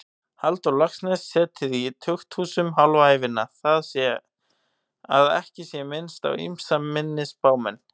Halldór Laxness setið í tukthúsum hálfa ævina, að ekki sé minnst á ýmsa minni spámenn.